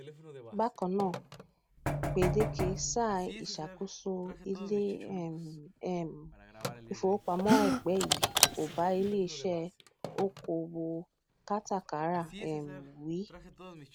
bakan naa gbedeke saa iṣakoso ile um um ifowopamọ aipẹ yii ko ba ileiṣẹ okoowo katakara um wi